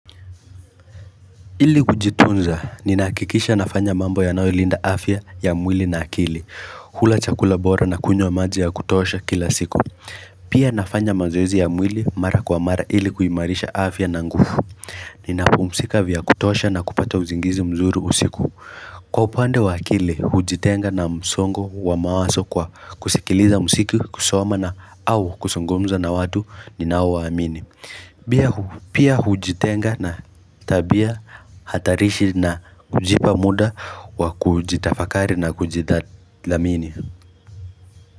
Ili kujitunza ninahakikisha nafanya mambo yanayolinda afya ya mwili na akili kula chakula bora na kunyo maji ya kutosha kila siku Pia nafanya mazoezi ya mwili mara kwa mara ili kuimarisha afya na nguvu Ninapumzika vya kutosha na kupata usingizi mzuri usiku Kwa upande wa akili hujitenga na msongo wa mawazo kwa kusikiliza mziki kusoma na au kuzungumza na watu ninao waamini Pia hujitenga na tabia hatarishi na kujipa muda wa kujitafakari na kujithamini.